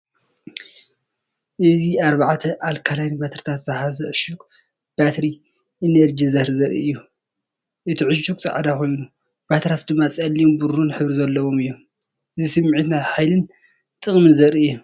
እዚ ኣርባዕተ ኣልካላይን ባትሪታት ዝሓዘ ዕሹግ ባትሪ ኢነርጂዘር ዘርኢ እዩ። እቲ ዕሹግ ጻዕዳ ኮይኑ ባትሪታት ድማ ጸሊምን ብሩርን ሕብሪ ዘለዎም እዮም። እዚ ስምዒት ናይ ሓይልን ጠቕምን ዘርኢ እዩ።